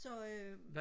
så øh